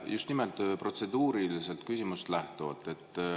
Just nimelt protseduurist lähtuvalt.